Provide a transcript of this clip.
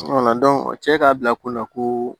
o cɛ k'a bila kun na ko